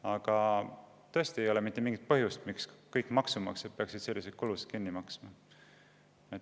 Aga tõesti ei ole mitte mingit põhjust, miks kõik maksumaksjad peaksid selliseid kulusid kinni maksma.